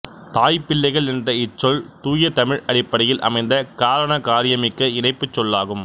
தாய்பிள்ளைகள் என்ற இச்சொல் தூய தமிழ் அடிப்படையில் அமைந்த காரணகாரியமிக்க இணைப்புச்சொல்லாகும்